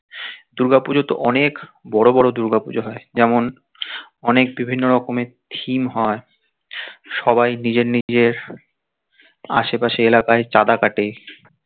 দূর্গা পুজোতে অনেক বড় বড় দূর্গা পুজো হয় যেমন অনেক বিভিন্ন রকমের থিম হয় সবাই নিজের নিজের আশেপাশে এলাকার চাঁদা কাটে